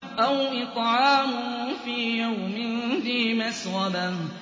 أَوْ إِطْعَامٌ فِي يَوْمٍ ذِي مَسْغَبَةٍ